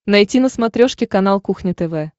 найти на смотрешке канал кухня тв